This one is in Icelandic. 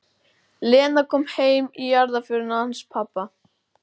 Lena kom heim í jarðarförina hans pabba.